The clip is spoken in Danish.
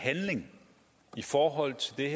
handling i forhold til det